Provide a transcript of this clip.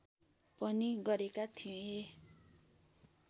पनि गरेका थिए